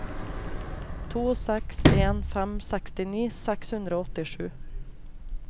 to seks en fem sekstini seks hundre og åttisju